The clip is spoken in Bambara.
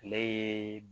Ale ye